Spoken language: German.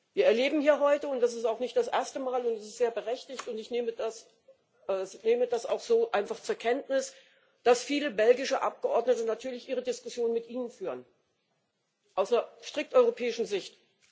Wir erleben hier heute und das ist auch nicht das erste Mal, und es ist sehr berechtigt, und ich nehme das auch so einfach zur Kenntnis dass viele belgische Abgeordnete natürlich ihre Diskussionen mit Ihnen führen aus einer strikt europäischen Sicht.